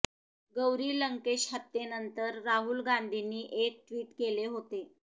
गौरी लंकेश हत्येनंतर राहुल गांधींनी एक ट्वीट केले होते